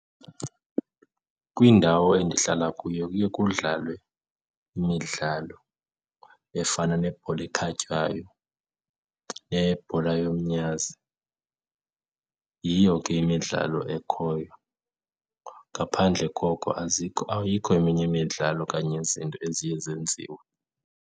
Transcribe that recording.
Kwindawo endihlala kuyo kuye kudlalwe imidlalo efana nebhola ekhatywayo nebhola yomnyazi. Yiyo ke imidlalo ekhoyo ngaphandle koko azikho, ayikho eminye imidlalo okanye izinto eziye zenziwe